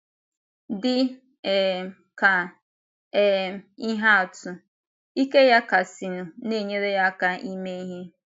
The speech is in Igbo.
Dị um ka um ihe atụ, ike ya kasịnụ na - enyere ya aka ime ihe.